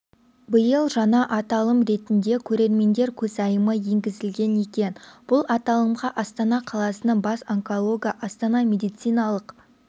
биыл жаңа аталым ретінде көрермендер көзайымы енгізілген екен бұл аталымға астана қаласының бас онкологі астана медициналық